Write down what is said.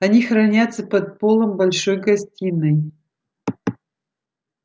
они хранятся под полом большой гостиной